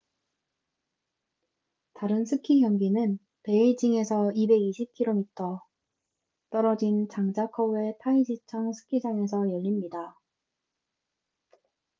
다른 스키 경기는 베이징에서 220km140마일 떨어진 장자커우의 타이지청 스키장에서 열립니다